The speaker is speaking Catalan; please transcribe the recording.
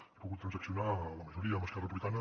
n’he pogut transaccionar la majoria amb esquerra republicana